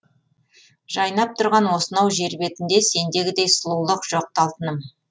жайнап тұрған осынау жер бетінде сендегідей сұлулық жоқ ты алтыным